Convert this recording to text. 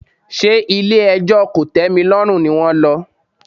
Ṣé ilé ẹjọ́ kòtẹ́milọ́rùn ni wón lọ?